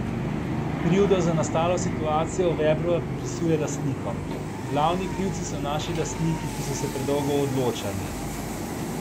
Krivdo za nastalo situacijo Vebrova pripisuje lastnikom: 'Glavni krivci so naši lastniki, ki so se predolgo odločali.